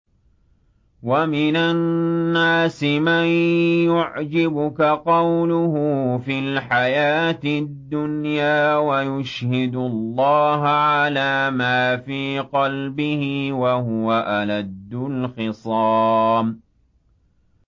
وَمِنَ النَّاسِ مَن يُعْجِبُكَ قَوْلُهُ فِي الْحَيَاةِ الدُّنْيَا وَيُشْهِدُ اللَّهَ عَلَىٰ مَا فِي قَلْبِهِ وَهُوَ أَلَدُّ الْخِصَامِ